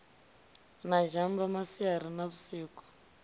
na zhamba masiari na vhusiku